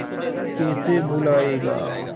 तू कैसे भूलाएगा